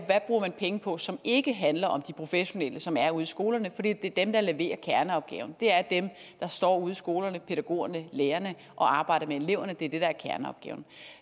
bruger penge på som ikke handler om de professionelle som er ude i skolerne for det er dem der leverer kerneopgaven det er dem der står ude i skolerne pædagogerne lærerne og arbejder med eleverne det er det der er kerneopgaven